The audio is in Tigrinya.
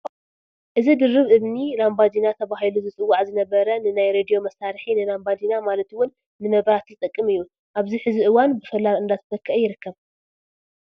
እዚ ድርብ እምኒ ላምባዲና ተባሂሉ ዝፅዋዕ ዝነበረ ንናይ ሬድዮ መሳርሒ፣ ንላምባዲና ማለት ውን ንመብራህቲ ዝጠቅም እዩ፡፡ ኣብዚ ሕዚ እዋን ብሶላር እንደተተከአ ይርከብ፡፡